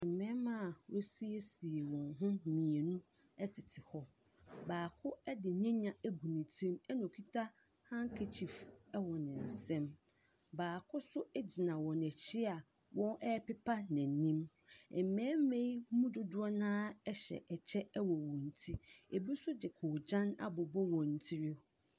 Mmarima a wɔasiesie wɔn ho mmienu tete hɔ. Baako ne nyenya agu ne tiri mu na ɔkuta handkerchief wɔ ne nsam. Baako nso gyina wɔn akyi a wɔrepepa n'anim. Mmarima yi mu dodoɔ no ara hyɛ kyɛ wɔ wɔn ti. Ebi nso de koogyan abobɔ wɔn tiri.